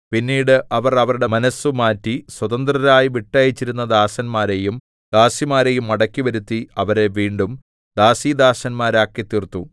പിന്നീട് അവർ അവരുടെ മനസ്സുമാറ്റി സ്വതന്ത്രരായി വിട്ടയച്ചിരുന്ന ദാസന്മാരെയും ദാസിമാരെയും മടക്കിവരുത്തി അവരെ വീണ്ടും ദാസീദാസന്മാരാക്കിത്തീർത്തു